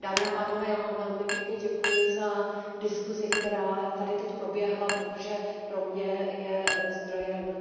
Dámy a pánové, já vám velmi pěkně děkuji za diskusi, která tady teď proběhla, protože pro mě je zdrojem